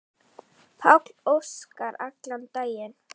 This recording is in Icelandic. Páll Óskar allan daginn.